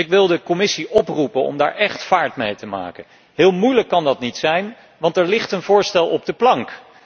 Dus ik wil de Commissie oproepen om daar echt vaart mee te maken. Heel moeilijk kan dat niet zijn want er ligt een voorstel op de plank.